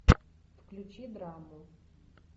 включи драму